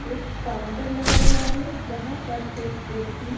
एक काउंटर लगा हुआ है जहां पर एक व्यक्ति--